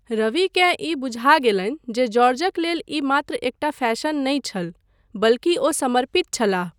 रविकेँ ई बुझा गेलनि जे जॉर्जक लेल ई मात्र एकटा फैशन नहि छल, बल्कि ओ समर्पित छलाह।